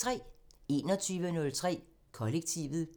21:03: Kollektivet